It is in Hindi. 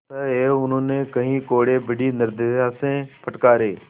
अतएव उन्होंने कई कोडे़ बड़ी निर्दयता से फटकारे